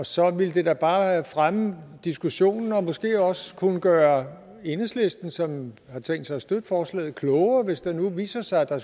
så ville det da bare fremme diskussionen og måske også kunne gøre enhedslisten som har tænkt sig at støtte forslaget klogere hvis det nu viste sig der